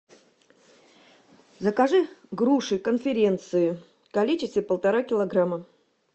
закажи груши конференции в количестве полтора килограмма